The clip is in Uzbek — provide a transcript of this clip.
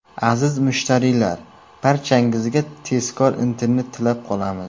Aziz mushtariylar, barchangizga tezkor internet tilab qolamiz.